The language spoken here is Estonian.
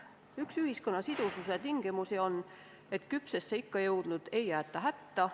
Üks ühiskonna sidususe tingimusi on, et küpsesse ikka jõudnuid ei jäeta hätta.